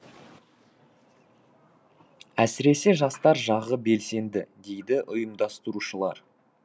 әсіресе жастар жағы белсенді дейді ұйымдастырушылар